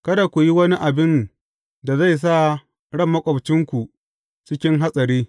Kada ku yi wani abin da zai sa ran maƙwabcinku cikin hatsari.